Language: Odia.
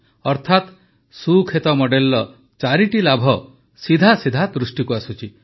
ଅର୍ଥାତ ସୁକ୍ଷେତ ମଡେଲର ଚାରିଟି ଲାଭ ସିଧାସିଧା ଦୃଷ୍ଟିକୁ ଆସୁଛି